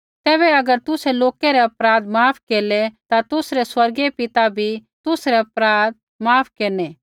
तैबै अगर तुसै लोकै रै अपराध माफ केरलै ता तुसरै स्वर्गीय पिता भी तुसरै अपराध माफ केरनै